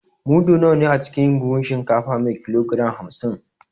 Mudu nawa ne a cikin buhun shinkafa me kilogram hamsin?